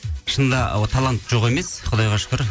шынында талант жоқ емес құдайға шүкір